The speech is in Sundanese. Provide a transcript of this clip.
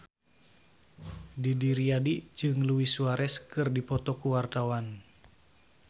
Didi Riyadi jeung Luis Suarez keur dipoto ku wartawan